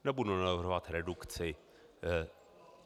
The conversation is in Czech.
Nebudu navrhovat redukci.